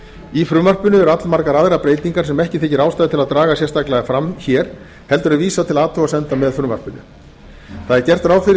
í frumvarpinu eru allmargar aðrar breytingar sem ekki þykir ástæða til að draga sérstaklega fram hér heldur er vísað til athugasemda með frumvarpinu gert er ráð fyrir